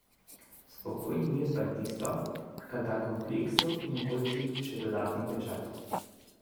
Spokojni mir pa je tisto, kar da kompleksu in okolici še dodatni pečat.